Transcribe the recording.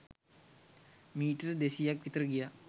metre දෙසීයක් විතර ගියා